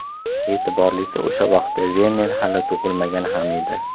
E’tiborlisi, o‘sha vaqtda Verner hali tug‘ilmagan ham edi.